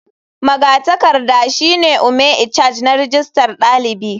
Magatakarda shine ome icharge na rijistar dalibi.